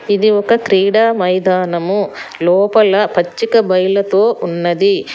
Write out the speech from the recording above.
ఇది ఒక క్రీడా మైదానము లోపల పచ్చిక బయలతో ఉన్నది